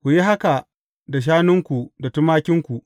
Ku yi haka da shanunku da tumakinku.